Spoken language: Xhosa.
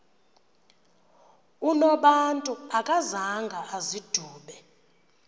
unobantu akazanga azidube